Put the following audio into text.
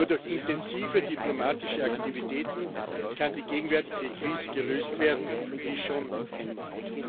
Nur durch intensive diplomatische Aktivitäten kann die gegenwärtige Krise gelöst werden, wie schon einmal.